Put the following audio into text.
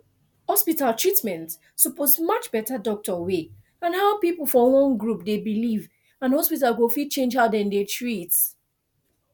hospital treatment suppose match better doctor way and how people for one group dey believe and hospital go fit change how dem dey treat